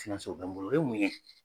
O bɛ n bolo o ye mun ye?